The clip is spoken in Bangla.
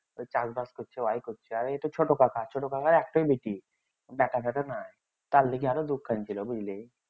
ওই চাষ বাস করছে ওই করছে এইতো ছোট কাকা আর ছোট কাকার একটাই বেটি বিটা সেটা নাই তার লিগা আরো ছিল বুঝলি